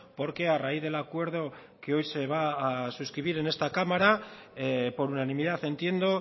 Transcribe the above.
porque a raíz del acuerdo que hoy se va a suscribir en esta cámara por unanimidad entiendo